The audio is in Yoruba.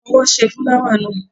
Fọwọ́ ṣe fúláwà náà!